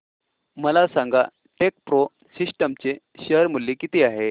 मला सांगा TechPro Systems चे शेअर मूल्य किती आहे